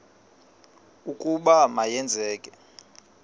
ukuba ma yenzeke